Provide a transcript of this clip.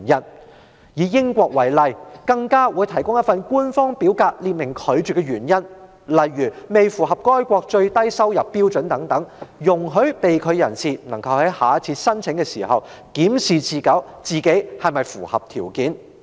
例如，英國會提供一份官方表格，列明拒發簽證的原因，如未能符合該國最低收入標準等，以便被拒發簽證人士在下次申請時檢視自己是否符合要求。